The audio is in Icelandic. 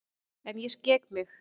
En ég skek mig.